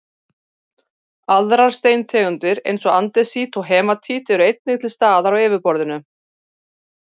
aðrar steintegundir eins og andesít og hematít eru einnig til staðar á yfirborðinu